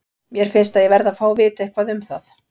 Mér finnst ég verði að fá að vita eitthvað um það.